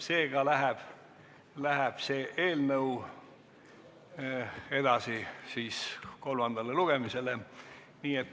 Seega läheb see eelnõu edasi kolmandale lugemisele.